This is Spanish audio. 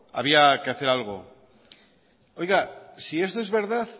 había que hacer algo si esto es verdad